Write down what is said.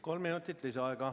Kolm minutit lisaaega.